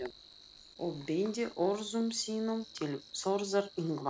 og beindi orðum sínum til Þórðar Yngva.